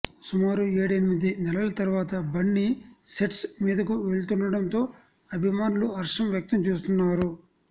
సుమారు ఏడెనిమిది నెలల తర్వాత బన్నీ సెట్స్ మీదకు వెళుతుండటంతో అభిమానులు హర్షం వ్యక్తం చేస్తున్నారు